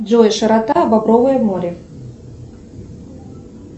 джой широта багровое море